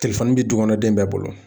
bi du kɔnɔ den bɛɛ bolo